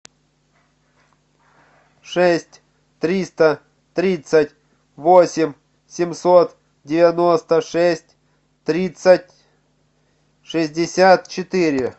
шесть триста тридцать восемь семьсот девяносто шесть тридцать шестьдесят четыре